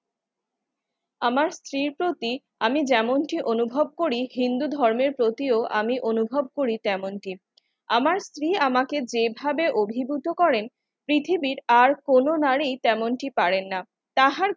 আমার স্ত্রী প্রতীক আমি যেমনটি অনুভব করি হিন্দু ধর্মের প্রতিও আমি অনুভব করি তেমনটি আমার স্ত্রী আমাকে যেভাবে অভিভূত করেন পৃথিবীর আর কোন নারী তেমনটি পারেন না তাহার